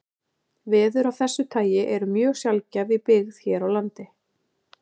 Veður af þessu tagi eru mjög sjaldgæf í byggð hér á landi.